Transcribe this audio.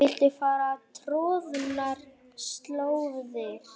Viltu fara troðnar slóðir?